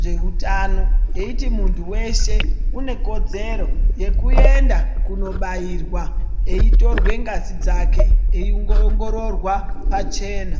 zveutano yeiti munhu weshe unekodzero yekuenda kundobairwa eitorwa ngazi dzake eiongororwa pachena.